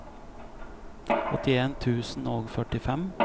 åttien tusen og førtifem